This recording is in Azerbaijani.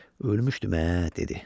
"Ölmüşdüm ə", dedi.